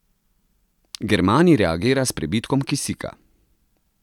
Germanij reagira s prebitkom kisika.